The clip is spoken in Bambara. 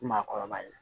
Maakɔrɔba ye